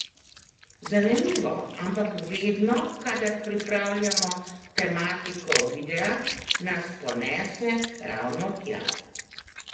Zanimivo, ampak vedno, kadar pripravljamo tematiko videa, nas ponese ravno tja!